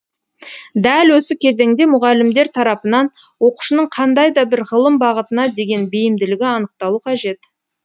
дәл осы кезеңде мұғалімдер тарапынан оқушының қандай да бір ғылым бағытына деген бейімділігі анықталу қажет